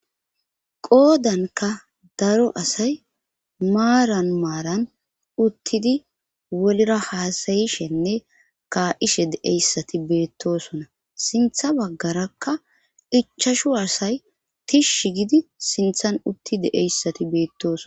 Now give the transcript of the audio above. Qoodanka daro asay maaran maaran uttidi wolra haasayishenne kaa'ishe deeyssati beettosona sintha baggarakka ichashu asay tishsh gidi sinthan utti deeyssati beettooson.